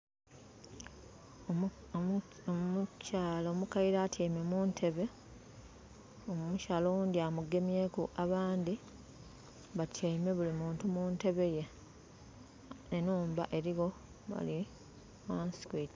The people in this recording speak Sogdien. Omukyala omukaire atyaime mu ntebe. Omukyala oghundhi amugemyeku. Abandhi batyaime buli muntu meantime ye. Enhumba eligho wale ghansi.